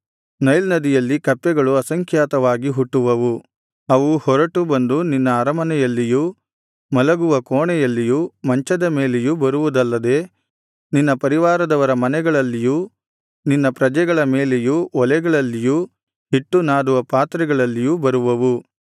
Nile ನದಿಯಲ್ಲಿ ಕಪ್ಪೆಗಳು ಅಸಂಖ್ಯಾತವಾಗಿ ಹುಟ್ಟುವವು ಅವು ಹೊರಟು ಬಂದು ನಿನ್ನ ಅರಮನೆಯಲ್ಲಿಯೂ ಮಲಗುವ ಕೋಣೆಯಲ್ಲಿಯೂ ಮಂಚದ ಮೇಲೆಯೂ ಬರುವುದಲ್ಲದೆ ನಿನ್ನ ಪರಿವಾರದವರ ಮನೆಗಳಲ್ಲಿಯೂ ನಿನ್ನ ಪ್ರಜೆಗಳ ಮೇಲೆಯೂ ಒಲೆಗಳಲ್ಲಿಯೂ ಹಿಟ್ಟು ನಾದುವ ಪಾತ್ರೆಗಳಲ್ಲಿಯೂ ಬರುವವು